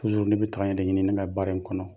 ne bɛ tagaɲɛ de ɲini ne ka baara in kɔnɔ